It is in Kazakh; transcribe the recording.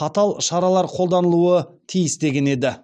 қатал шаралар қолданылуы тиіс деген еді